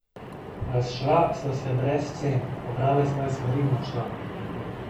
Razšla sva se brez scen, pobrala je svoje stvari in odšla.